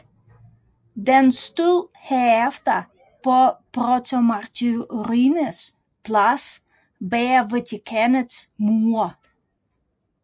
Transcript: Den stod herefter på Protomartyrenes Plads bag Vatikanets mure